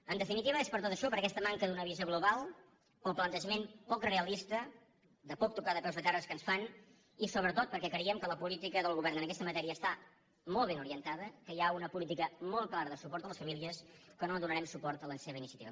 en definitiva és per tot això per aquesta manca d’una visió global pel plantejament poc realista de poc tocar de peus a terra que ens fan i sobretot perquè creiem que la política del govern en aquesta matèria està molt ben orientada que hi ha una política molt clara de suport a les famílies que no donarem suport a la seva iniciativa